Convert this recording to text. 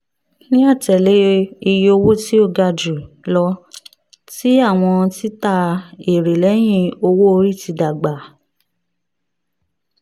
ni atẹle iye owo ti o ga julọ ti awọn tita ere lẹhin owo-ori ti dagba